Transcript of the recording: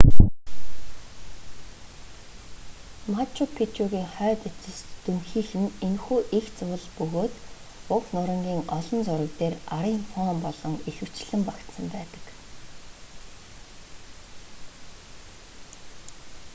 мачу пичугийн хойд эцэст дүнхийх нь энэхүү эгц уул бөгөөд уг нурангийн олон зураг дээр арын фон болон ихэвчлэн багтсан байдаг